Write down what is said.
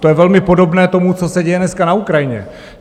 To je velmi podobné tomu, co se děje dneska na Ukrajině.